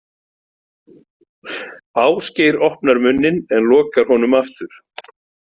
Ásgeir opnar munninn en lokar honum aftur.